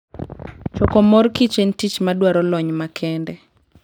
Choko mor kich en tich madwaro lony makende.